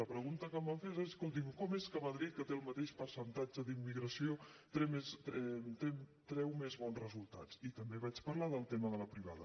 la pregunta que em van fer és escolti’m com és que madrid que té el mateix percentatge d’immigració treu més bons resultats i també vaig parlar del tema de la privada